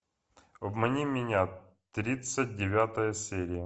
обмани меня тридцать девятая серия